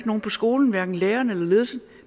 nogen på skolen hverken lærerne eller ledelsen